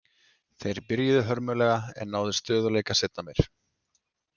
Þeir byrjuðu hörmulega en náðu stöðugleika seinna meir.